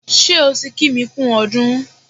Ṣé o ti kí mi kú ọdún?